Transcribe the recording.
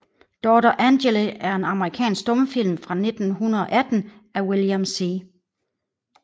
Daughter Angele er en amerikansk stumfilm fra 1918 af William C